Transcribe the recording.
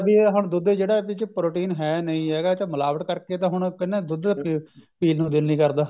ਵੀ ਆਹ ਦੁੱਧ ਚ ਜਿਹੜਾ ਇਹਦੇ ਚ protein ਹੈ ਨਹੀਂ ਹੈਗਾ ਤਾ ਮਿਲਾਵਟ ਕਰਕੇ ਤਾਂ ਹੁਣ ਕਹਿੰਦੇ ਨੇ ਦੁੱਧ ਪੀਣ ਨੂੰ ਦਿਲ ਨਹੀਂ ਕਰਦਾ